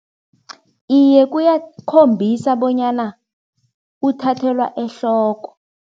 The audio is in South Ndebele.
Iye, kuyakhombisa bonyana kuthathelwa ehloko.